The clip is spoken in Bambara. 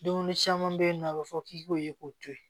Dumuni caman bɛ yen nɔ a bɛ fɔ k'i k'o ye k'o to ye